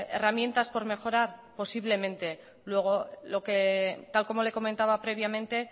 herramientas por mejorar posiblemente luego lo que tal como le comentaba previamente